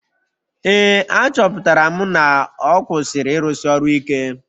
Ee, achọpụtara m na ọ kwụsịrị ịrụsi ọrụ ike